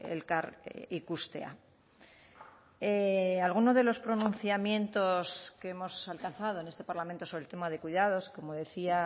elkar ikustea alguno de los pronunciamientos que hemos alcanzado en este parlamento sobre el tema de cuidados como decía